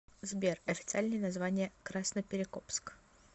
сбер официальное название красноперекопск